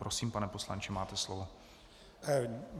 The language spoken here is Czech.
Prosím, pane poslanče, máte slovo.